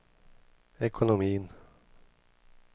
ekonomin